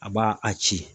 A b'a a ci